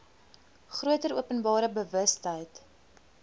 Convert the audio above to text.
groter openbare bewustheid